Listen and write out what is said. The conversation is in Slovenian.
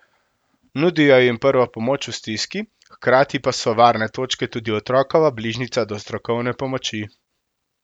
Nudijo jim prvo pomoč v stiski, hkrati pa so Varne točke tudi otrokova bližnjica do strokovne pomoči.